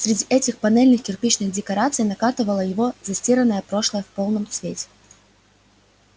среди этих панельных-кирпичных декораций накатывало его застиранное прошлое в полном цвете